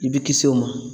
I bɛ kisi o ma